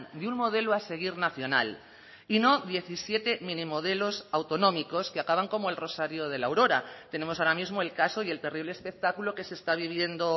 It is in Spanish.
de un modelo a seguir nacional y no diecisiete minimodelos autonómicos que acaban como el rosario de la aurora tenemos ahora mismo el caso y el terrible espectáculo que se está viviendo